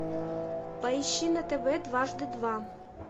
поищи на тв дважды два